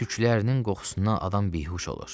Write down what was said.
Tüklərinin qoxusundan adam bihuş olur.